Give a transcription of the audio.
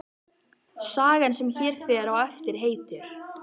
Sagan sem hér fer á eftir heitir